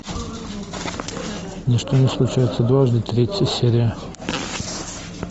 ничто не случается дважды третья серия